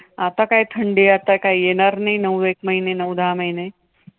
आता काय थंडी आता काय येणार नाही नऊ एक महिने, नऊ दहा महिने